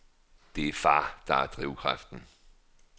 Det er far, der er drivkraften.